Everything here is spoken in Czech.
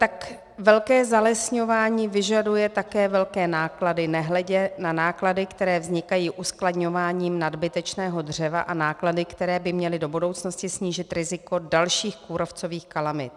Tak velké zalesňování vyžaduje také velké náklady, nehledě na náklady, které vznikají uskladňováním nadbytečného dřeva, a náklady, které by měly do budoucnosti snížit riziko dalších kůrovcových kalamit.